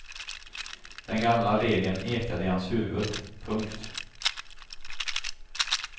Den gamla regeln ekade i hans huvud. punkt